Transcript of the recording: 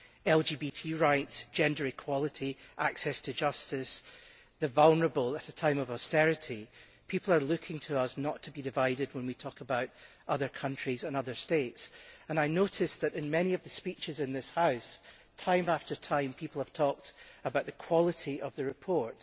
LGBT rights, gender equality, access to justice, the vulnerable at a time of austerity people are looking to us not to be divided when we talk about other countries and other states. I noticed that in many of the speeches in this House, time after time people have talked about the quality of the report.